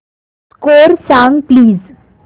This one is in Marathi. स्कोअर सांग प्लीज